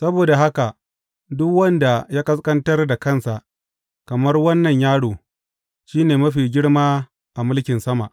Saboda haka, duk wanda ya ƙasƙantar da kansa kamar wannan yaro, shi ne mafi girma a mulkin sama.